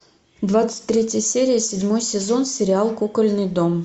двадцать третья серия седьмой сезон сериал кукольный дом